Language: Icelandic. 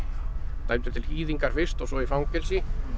dæmdur til fyrst og svo í fangelsi